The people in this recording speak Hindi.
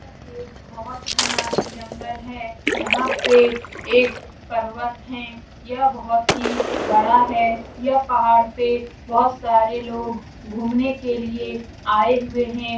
यह एक बोहोत घना जंगल है। यहाँ पे एक पर्वत है। यह बहुत ही बड़ा है। यहाँ पहाड़ पे बोहोत सारे लोग घुमने के लिए आए हुए है।